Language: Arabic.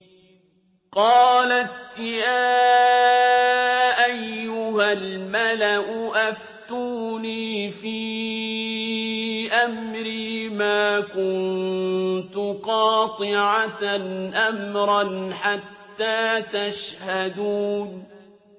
قَالَتْ يَا أَيُّهَا الْمَلَأُ أَفْتُونِي فِي أَمْرِي مَا كُنتُ قَاطِعَةً أَمْرًا حَتَّىٰ تَشْهَدُونِ